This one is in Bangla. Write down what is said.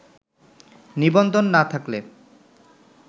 নিবন্ধন না থাকলে